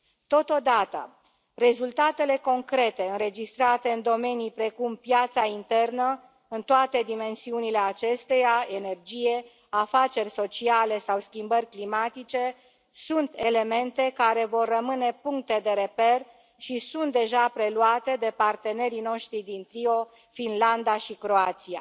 Totodată, rezultatele concrete înregistrate în domenii precum piața internă, în toate dimensiunile acesteia energie, afaceri sociale sau schimbări climatice sunt elemente care vor rămâne puncte de reper și sunt deja preluate de partenerii noștri din trio, Finlanda și Croația.